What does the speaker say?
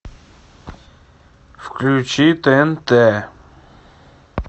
включи тнт